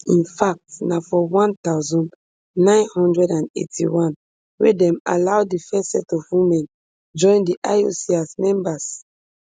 infact na for one thousand, nine hundred and eighty-one wey dem allow di first set of women join di ioc as members